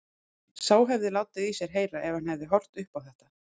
Sá hefði látið í sér heyra ef hann hefði horft upp á þetta!